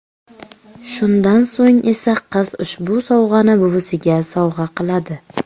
Shundan so‘ng esa qiz ushbu sovg‘ani buvisiga sovg‘a qiladi.